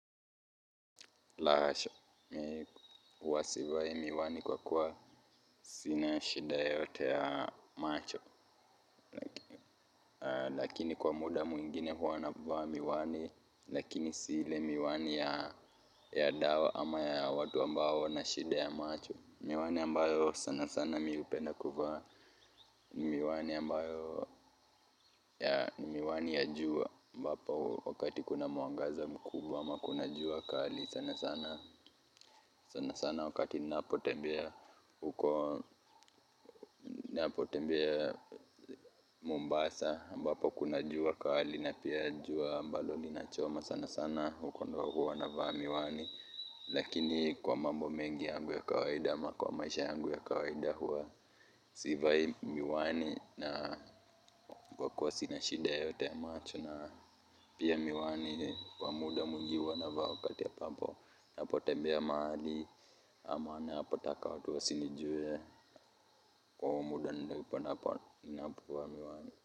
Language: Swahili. La hasha, mimi huwa sivai miwani kwa kuwa sina shida yoyote ya macho. Lakini kwa muda mwingine huwa navaa miwani, lakini si ile miwani ya dawa ama ya watu ambao wana shida ya macho. Miwani ambayo sana sana mimi hupenda kuvaa. Miwani ambayo ya miwani ya jua ambapo wakati kuna mwangaza mkubwa ama kuna jua kali. Sana sana wakati napotembea Mombasa ambapo kuna jua kali na pia jua ambalo linachoma sana sana huko ndao huwa navaa miwani lakini kwa mambo mengi yangu ya kawaida ama kwa maisha yangu ya kawaida huwa sivai miwani na kwa kuwa sina shida yeyote ya macho na pia miwani kwa muda mwingi huwa navaa wakati ya ambapo ninapotembea mahali ama ninapotaka watu wasinijue kwa muda, ninavaa miwani.